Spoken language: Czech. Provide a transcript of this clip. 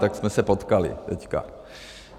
Tak jsme se potkali teďka.